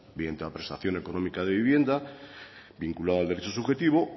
mediante la prestación económica de vivienda vinculada al derecho subjetivo